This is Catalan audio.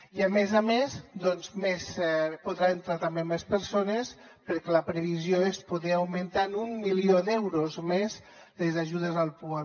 i a més a més hi podran entrar més persones perquè la previsió és poder augmentar en un milió d’euros més les ajudes al pua